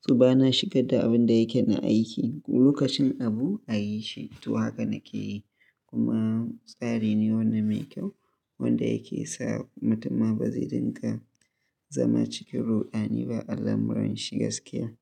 suna shigar da abin da yake na aiki. Lokacin abu a yi shi, to haka nake yi. Kuma tsari ne wanda mai kyau, wanda yake sa mutum ma ba zai dinga zama cikin ruɗani ba ala muran shi gaskiya.